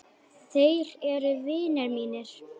Þeir eru vinir mínir.